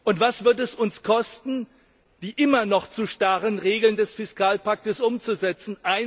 Und was wird es uns kosten, die immer noch zu starren Regeln des Fiskalpakts umzusetzen?